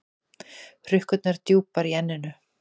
Hrukkurnar djúpar í enninu.